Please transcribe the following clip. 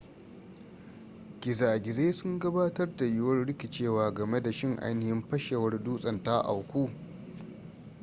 gizagizai sun gabatar da yiwuwar rikicewa game da shin ainihin fashewar dutsen ta auku